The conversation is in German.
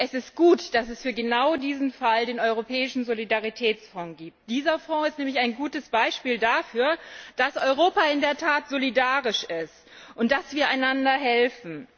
Es ist gut, dass es genau für diesen Fall den Europäischen Solidaritätsfonds gibt. Dieser Fonds ist nämlich ein gutes Beispiel dafür, dass Europa in der Tat solidarisch ist und dass wir einander helfen.